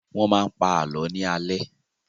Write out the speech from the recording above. Wọ́n máa ń pa àlọ́ ní alẹ́